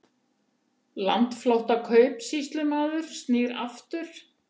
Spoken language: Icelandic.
Landflótta kaupsýslumaður snýr aftur